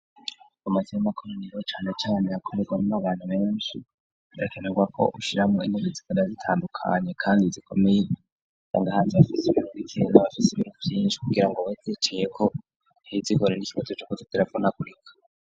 Amazi y'amakoro niba canecane yakomerwa nmo abantu benshi rakenerwa ko ushiramo inkugi zikoda zitandukanye, kandi zikomeye zangahazi hafise kg ikendga bafise ibiru vyinshi kugira ngo bykicayeko ntizikore n'ikibozo c'ukuza telefona kurika.